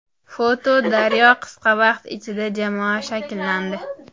Foto © Daryo Qisqa vaqt ichida jamoa shakllandi.